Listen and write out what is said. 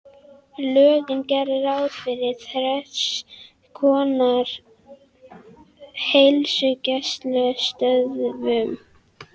Lögin gera ráð fyrir þrenns konar heilsugæslustöðvum